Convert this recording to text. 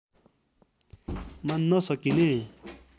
मान्न सकिने